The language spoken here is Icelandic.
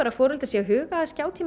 foreldrar séu að huga að